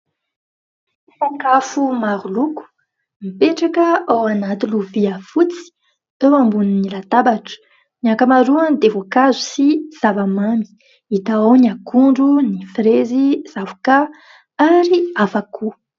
Sakafo maro loko mipetraka ao anaty lovia fotsy teo ambony latabatra, ny ankamaroany dia voankazo sy zava-mamy, hita ao ny akondro, ny frezy, ny zavokà ary hafa koa.